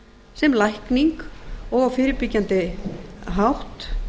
sem lækning og á fyrirbyggjandi hátt